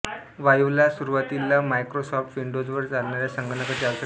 वाईवला सुरूवातीला मायक्रोसॉफ्ट विंडोजवर चालणाऱ्या संगणकांची आवश्यकता होती